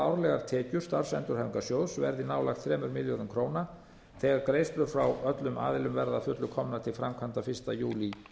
árlegar tekjur starfsendurhæfingarsjóðs verði nálægt þremur milljörðum króna þegar greiðslur frá öllum aðilum verða að fullu komnar til framkvæmda fyrsta júlí